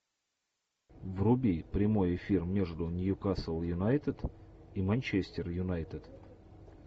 вруби прямой эфир между ньюкасл юнайтед и манчестер юнайтед